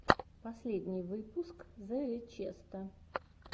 последний выпуск зе ричеста